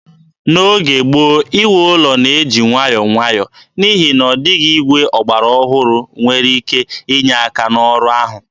N'oge gboo, iwu ụlọ na-eji nwayọọ nwayọọ, n'ihi na ọ dịghị igwe ọgbara ọhụrụ nwere ike inye aka n'ọrụ ahụ.